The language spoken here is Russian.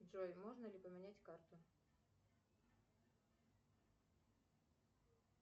джой можно ли поменять карту